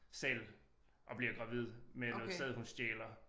Selv og bliver gravid med noget sæd hun stjæler